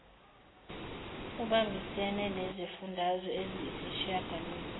uibambisene nezifundazwe eziyisishiyagalolunye